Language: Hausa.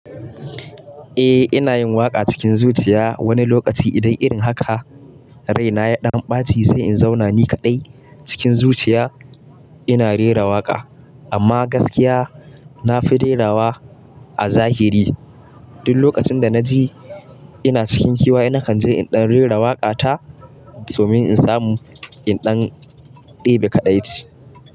Eh ina yin waƙa cikin zuciya wani lokaci idan irin haka rai na ya ɗan ɓaci sai in zauna ni kaɗai cikin zuciya ina rera waƙa. Amma gaskiya na fi rerawa a zahiri duk lokacin da na ji ina cikin kewa ina kan je in ɗan rera waƙa ta domin in samu in ɗan ɗebe kaɗaici.